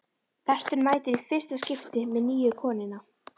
Berti mætir í fyrsta skipti með nýju konuna.